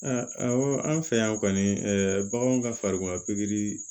Aa awɔ an fɛ yan kɔni ɛ baganw ka farikolo pikiri